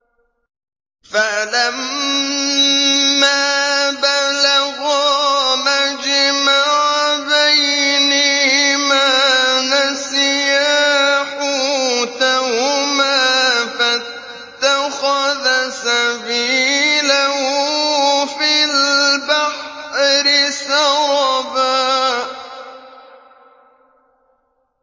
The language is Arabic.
فَلَمَّا بَلَغَا مَجْمَعَ بَيْنِهِمَا نَسِيَا حُوتَهُمَا فَاتَّخَذَ سَبِيلَهُ فِي الْبَحْرِ سَرَبًا